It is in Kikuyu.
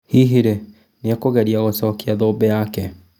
Hihi rĩ nĩekũgeria gũcokia thũmbĩ yake ?